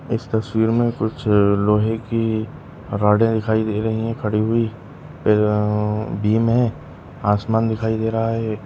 इस तस्वीर में कुछ लोहे की रॉडे दिखाई दे रही है खड़ी हुयी फिर अ बीम है आसमान दिखाई दे रहा है।